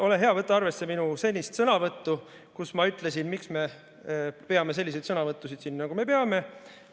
Ole hea, võta arvesse minu sõnavõttu, kus ma ütlesin, miks me peame selliseid sõnavõttusid siin, nagu me peame.